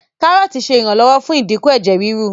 Kárọ́ọ̀tì ṣe iranlọwọ fún idínkù Ẹ̀jẹ̀ ríru.